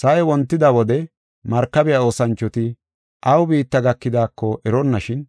Sa7ay wontida wode markabiya oosanchoti aw biitta gakidaako eronnashin,